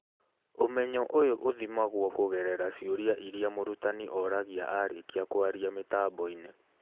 ũmenyo ũyũ ũthimagwo kũgerera ciũria iria mũrutani oragia arĩkia kwaria mĩtambo-inĩ